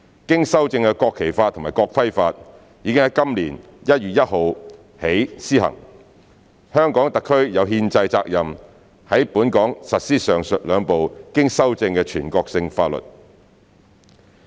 經修正的《國旗法》及《國徽法》已於今年1月1日起施行，香港特區有憲制責任在本港實施上述兩部經修正的全國性法律。